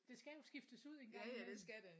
Det skal jo skiftes ud en gang imellem